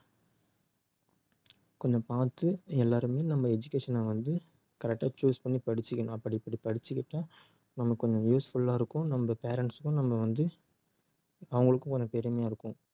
கொஞ்சம் பார்த்து எல்லாருமே நம்ம education அ வந்து correct ஆ choose பண்ணி படிச்சுக்கணும் அப்படி இப்படி படிச்சுக்கிட்டா நமக்கு கொஞ்சம் useful ஆ இருக்கும் நம்ம parents க்கும் நம்ம வந்து அவங்களுக்கும் கொஞ்சம் பெருமையா இருக்கும்